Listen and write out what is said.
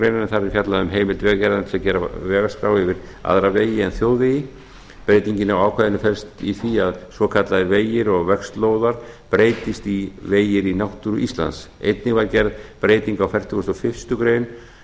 þar er fjallað um heimild vegagerðarinnar til að gera vegaskrá yfir aðra vegi en þjóðvegi breytingin á ákvæðinu felst í því að svokallaðir vegir og vegslóðar breytist í vegir í náttúru íslands einnig var gerð breyting á fertugasta og fyrstu grein um að